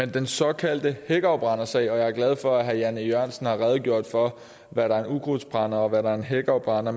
den såkaldte hækafbrændersag og jeg er glad for at herre jan e jørgensen har redegjort for hvad der er en ukrudtsbrænder og hvad der er en hækafbrænder